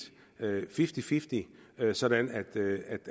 fifty fifty sådan